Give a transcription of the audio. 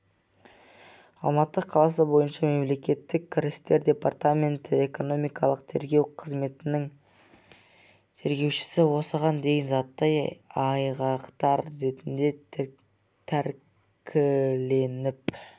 алматы қаласы бойынша мемлекеттік кірістер департаменті экономикалық тергеу қызметінің тергеушісі осыған дейін заттай айғақтар ретінде тәркіленіп